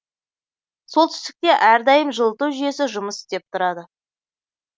солтүстікте әрдайым жылыту жүйесі жұмыс істеп тұрады